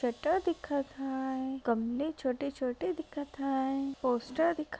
shutter दिखत हाय गमले छोटे-छोटे दिखत हाय पोस्टर दिख--